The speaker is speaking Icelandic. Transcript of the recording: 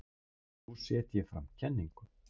Nú set ég fram kenningu.